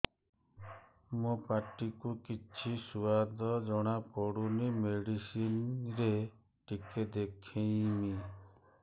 ମୋ ପାଟି କୁ କିଛି ସୁଆଦ ଜଣାପଡ଼ୁନି ମେଡିସିନ ରେ ଟିକେ ଦେଖେଇମି